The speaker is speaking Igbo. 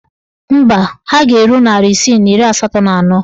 Mba, ha ga-eru narị isii na iri asatọ na anọ.